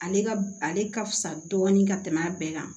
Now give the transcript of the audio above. Ale ka ale ka fisa dɔɔnin ka tɛmɛ a bɛɛ kan